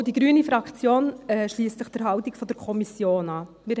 Auch die Fraktion Grüne schliesst sich der Haltung der Kommission an.